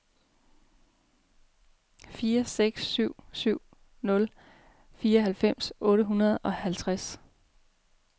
fire seks syv nul fireoghalvfems otte hundrede og halvtreds